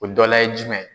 O dɔla ye jumɛn ye